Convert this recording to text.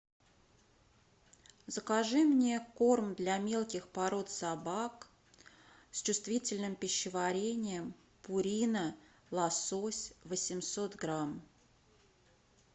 закажи мне корм для мелких пород собак с чувствительным пищеварением пурина лосось восемьсот грамм